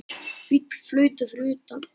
Bíll flautar fyrir utan.